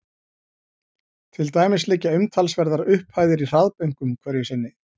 Til dæmis liggja umtalsverðar upphæðir í hraðbönkum hverju sinni.